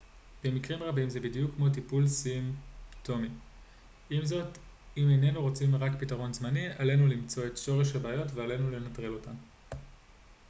במקרים רבים זה בדיוק כמו טיפול סימפטומטי עם זאת אם איננו רוצים רק פתרון זמני עלינו למצוא את שורש הבעיות ועלינו לנטרל אותן